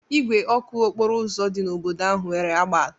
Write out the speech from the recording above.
Igwe ọkụ okporo ụzọ dị n'obodo ahụ nwere agba atọ.